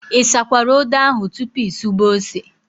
Ị sakwara odo ahụ tupu ị sube ose?